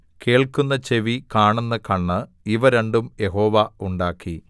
കേൾക്കുന്ന ചെവി കാണുന്ന കണ്ണ് ഇവ രണ്ടും യഹോവ ഉണ്ടാക്കി